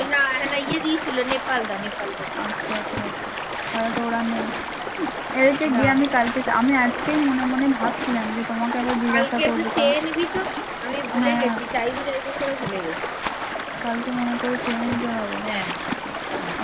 আজকেই মনে মনে ভাবছিলাম যে